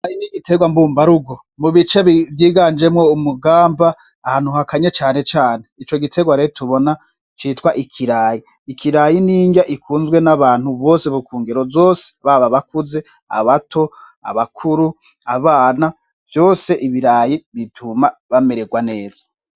Hari n'igiterwa mbumbarugo mu bice vyiganjemwo umugamba ahantu hakanye cane cane , ico giterwa rero tubona citwa ikirayi . Ikirayi n'inrya ikunzwe n'abantu bose bo ku ngero zose ,baba abakuze , abato , abakuru, abana vyose ,ibirayi bituma bamererwa neza.